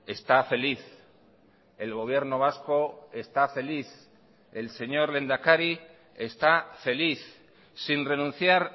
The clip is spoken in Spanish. está feliz el gobierno vasco está feliz el señor lehendakari está feliz sin renunciar